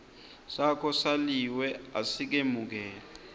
sakho saliwe asikemukelwa